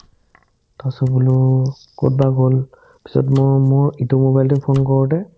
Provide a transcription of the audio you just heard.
ধচোবোলো ক'ত বা গ'ল পিছত মই মোৰ ইটো মোবাইলটো phone কৰোতে